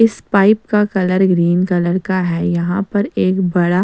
इस पाइप का colour green colour का है यहां पर एक बड़ा--